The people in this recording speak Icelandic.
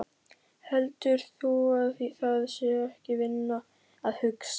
Heldur þú að það sé ekki vinna að hugsa?